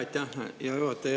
Aitäh, hea juhataja!